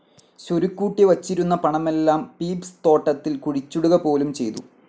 സ്വരുക്കൂട്ടിവച്ചിരുന്ന പണമെല്ലാം പീപ്സ്‌ തോട്ടത്തിൽ കുഴിച്ചിടുകപോലും ചെയ്തു.